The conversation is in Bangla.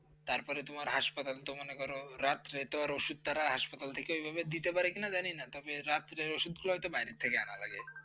তারপরে তোমার hospital ল তো মনে করো, রাতে কিন্তু তাঁরা hospital থেকে ওইভাবে দিতে পারে কিনা জানি না। তবে রাতের ওষুধগুলো বাইরে থেকে আনতে লাগে।